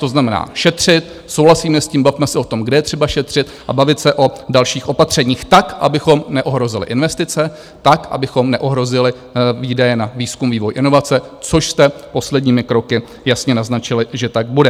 To znamená šetřit, souhlasíme s tím, bavme se o tom, kde je třeba šetřit a bavit se o dalších opatřeních tak, abychom neohrozili investice, tak, abychom neohrozili výdaje na výzkum, vývoj, inovace, což jste posledními kroky jasně naznačili, že tak bude.